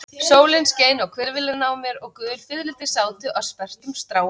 Sólin skein á hvirfilinn á mér og gul fiðrildi sátu á sperrtum stráum.